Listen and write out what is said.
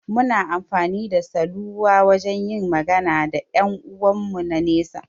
Muna amfani da saluwa wajan yin magana da ƴan 'uwan mu na nesa